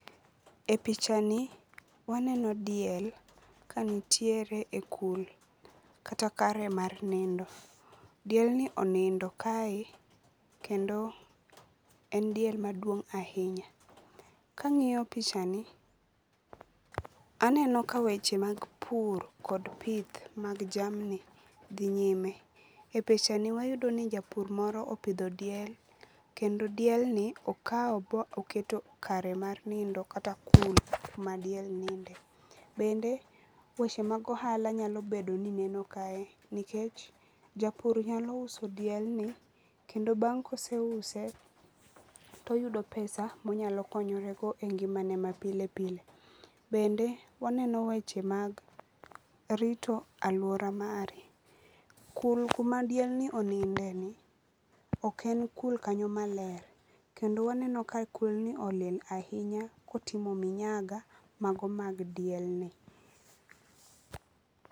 E pichani waneno diel kanitiere e kul kata kare mar nindo. Dielni onindo kae kendo en diel maduong' ahinya. Kang'iyo pichani aneno ka weche mag pur kod pith mag jamni dhi nyime. E pichani wayudo ni japur moro opidho diel kendo dielni oketo kare mar nindo kata kul ma diel ninde. Bende weche mag ohala nyalo bedo nio neno kae nikech japur nyalo uso dielni kendo bang' koseuse toyudo pesa monyalo konyorego e ngiomane mapile pile. Bende waneno weche mag rito alwora mari. Kul kumadiel ni onindeni ok en kul kanyo maler, kendo waneno ka kulni olil ahionya kotimo minyaga mago mag dielni.